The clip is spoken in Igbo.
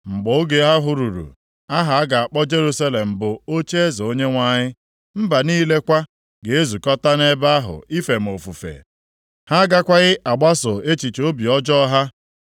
Mgbe oge ahụ ruru, aha a ga-akpọ Jerusalem bụ Ocheeze Onyenwe anyị. Mba niile kwa ga-ezukọta nʼebe ahụ ife m ofufe. Ha agakwaghị agbaso echiche obi ọjọọ ha.